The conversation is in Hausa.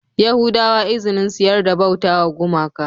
Yahudawa izinin su yarda bautawa gumaka